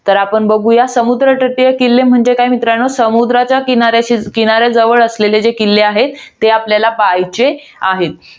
तर आपण बघुया, समुद्र तटीय किल्ले म्हणजे काय मित्रांनो? समुद्राच्या किनाऱ्या~ किनाऱ्या जवळ असणारे जे किल्ले आहे. ते आपल्याला पहायचे आहेत.